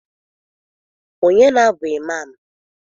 Ọnye na-bụ Ịmam?